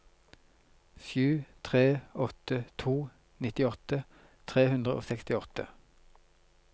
sju tre åtte to nittiåtte tre hundre og sekstiåtte